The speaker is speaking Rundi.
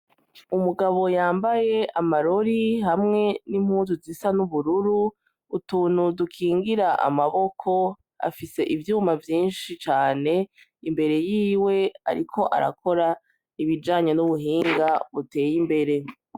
Umugabo yambaye amarori hamwe n'impuzu zisa n'ubururu utunu dukingira amaboko afise ivyuma vyinshi cane imbere yiwe, ariko arakora ibijanyo n'ubuhinga uteye imbere.